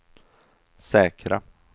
säkra